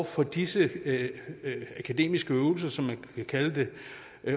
for disse akademiske øvelser som man kan kalde det